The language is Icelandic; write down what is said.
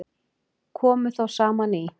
Komu þá saman í